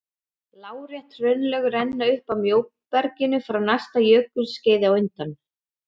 Lárétt hraunlög renna upp að móberginu frá næsta jökulskeiði á undan.